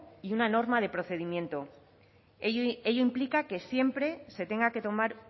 y una norma de procedimiento ello implica